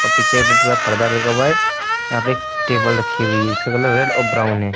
अ पीछे red colour का पर्दा लगा हुआ है। यहां पे एक टेबल रखी हुई है जिसका कलर रेड और ब्राउन है।